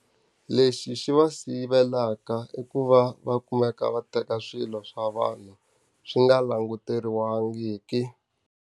Lexi xi va sivelaka i ku va va kumeka va teka swilo swa vanhu swi nga languteriwangiki.